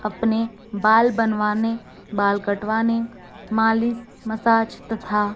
अपने बाल बनवाने बाल कटवाने मालिश मसाज तथा--